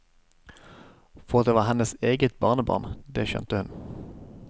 For at det var hennes eget barnebarn, det skjønte hun.